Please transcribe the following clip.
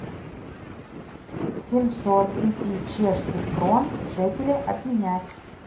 семьсот пяти чешских крон в шекели обменять